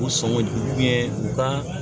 U sɔngɔ jugu ye ba